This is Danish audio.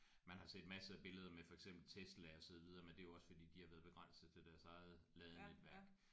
Man har set masser af billeder med for eksempel Tesla og så videre men det er jo også fordi de har været begrænsede til deres eget ladenetvæk